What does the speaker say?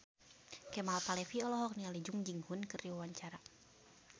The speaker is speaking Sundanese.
Kemal Palevi olohok ningali Jung Ji Hoon keur diwawancara